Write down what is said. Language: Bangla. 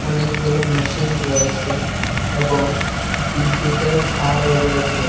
অনেকগুলো ম্যাশিন রয়েসে এবং বিদ্যুতের থারও রয়েসে।